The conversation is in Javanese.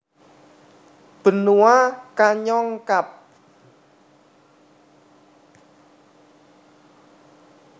Benua Kanyong Kab